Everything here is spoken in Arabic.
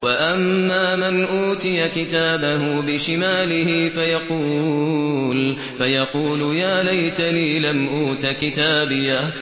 وَأَمَّا مَنْ أُوتِيَ كِتَابَهُ بِشِمَالِهِ فَيَقُولُ يَا لَيْتَنِي لَمْ أُوتَ كِتَابِيَهْ